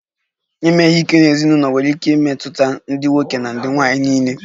Ime ihe ike n'ezinụlọ nwere ike imetụta ndị nwoke na nwanyị niile